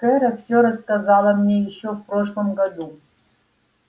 кэро всё рассказала мне ещё в прошлом году